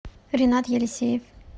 ренат елисеев